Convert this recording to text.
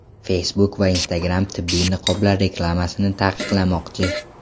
Facebook va Instagram tibbiy niqoblar reklamasini taqiqlamoqchi.